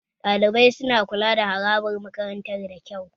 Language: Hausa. Ɗalibai su na kula da harabar makarantar da kyau